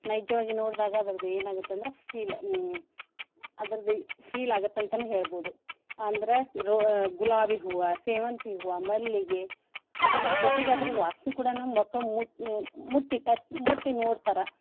ನೈಜವಾಗಿ ನೋಡ್ದಾಗ ಅದರ್ದ ಏನ್ ಆಗತ್ತಂದ್ರ feel ಅ ಹ್ಮ್ ಅದರ್ದ feel ಆಗತ್ ಅಂತನೆ ಹೇಳ್ಬೋದು ಅಂದ್ರ ರೊ~ ಗುಲಾಬಿ ಹೂವ, ಸೇವಂತಿ ಹೂವ, ಮಲ್ಲಿಗೆ ಅದರ್ ಜೊತೆಗೆ ಅದ್ರ ವಾಸ್ನಿ ಕೂಡಾನೂ ಮಕ್ಳ್ ಮುಸ್~ ಮುಟ್ಟಿ ತಟ್~ ಮುಟ್ಟಿ ನೋಡ್ತರಾ.